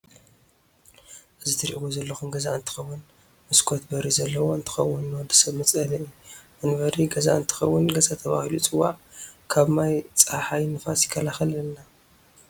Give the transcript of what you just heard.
አዚ ትርኢዎ ዘለኩም ገዛ አንትከዉን መስኮት በሪ ዘለዎ እትከውን ንወድሰብ መፅለሊ መንበሪ ገዛ አንትከውን ገዛ ተባሂሉ ይፅዋዕ ከብ ማይ፣ ፀሓይ ንፋስ ይካላከሐልና።